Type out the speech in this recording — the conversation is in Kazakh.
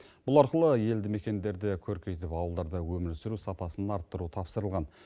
бұл арқылы елді мекендерді көркейтіп ауылдарда өмір сүру сапасын арттыру тапсырылған